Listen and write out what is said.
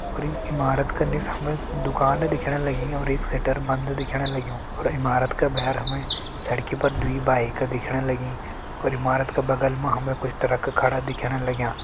अर इमारत की निस हमि दुकान दिखण लगीं और एक शटर बंद दिखेण लग्युं और इमारत का भैर हमे सड़की पर दुई बाइक दिखेण लगीं अर इमारत का बगल मा हेम कुछ ट्रक खडा दिखेण लग्यां।